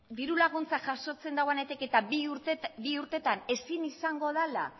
diru laguntza jasotzen dauanetik eta bi urtetan ezin izango dala